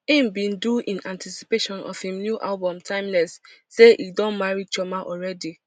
im bin do in anticipation of im new album timeless say e don marry chioma already